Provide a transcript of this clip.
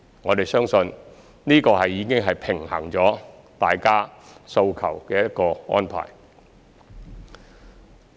我們相信這已是平衡了大家訴求的一個安排。